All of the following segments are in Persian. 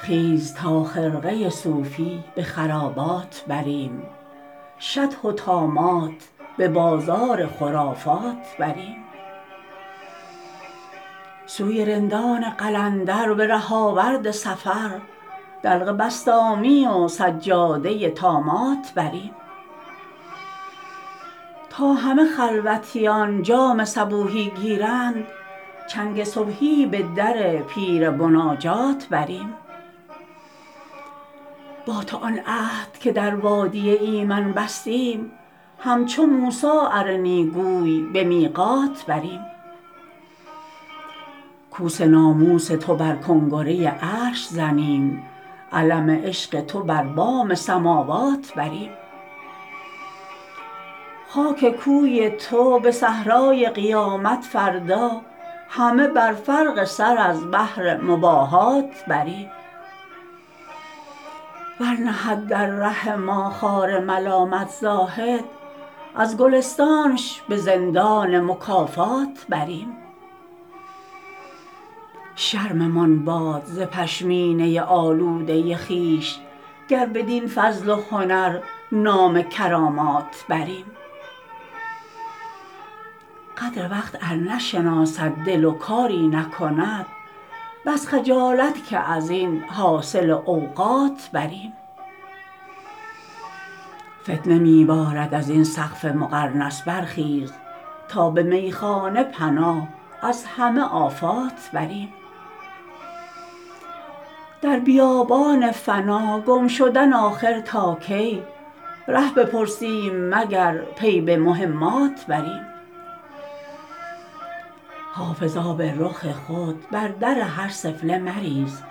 خیز تا خرقه صوفی به خرابات بریم شطح و طامات به بازار خرافات بریم سوی رندان قلندر به ره آورد سفر دلق بسطامی و سجاده طامات بریم تا همه خلوتیان جام صبوحی گیرند چنگ صبحی به در پیر مناجات بریم با تو آن عهد که در وادی ایمن بستیم همچو موسی ارنی گوی به میقات بریم کوس ناموس تو بر کنگره عرش زنیم علم عشق تو بر بام سماوات بریم خاک کوی تو به صحرای قیامت فردا همه بر فرق سر از بهر مباهات بریم ور نهد در ره ما خار ملامت زاهد از گلستانش به زندان مکافات بریم شرممان باد ز پشمینه آلوده خویش گر بدین فضل و هنر نام کرامات بریم قدر وقت ار نشناسد دل و کاری نکند بس خجالت که از این حاصل اوقات بریم فتنه می بارد از این سقف مقرنس برخیز تا به میخانه پناه از همه آفات بریم در بیابان فنا گم شدن آخر تا کی ره بپرسیم مگر پی به مهمات بریم حافظ آب رخ خود بر در هر سفله مریز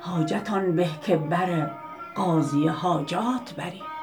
حاجت آن به که بر قاضی حاجات بریم